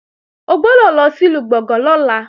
O gbọ́dọ̀ lọ sìlú Gbọ̀ngán lọ́la